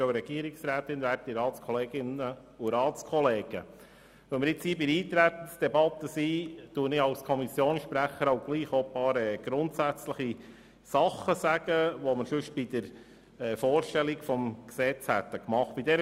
Weil wir uns in der Eintretensdebatte befinden, sage ich als Kommissionssprecher ein paar grundsätzliche Dinge, die sonst bei der Vorstellung des Gesetzes zur Sprache gekommen wären.